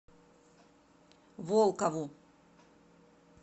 волкову